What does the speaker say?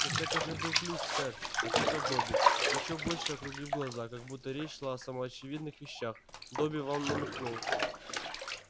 так это же был ключ сэр ответил добби ещё больше округлив глаза как будто речь шла о самоочевидных вещах добби вам намекнул